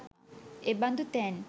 එබඳු තැන්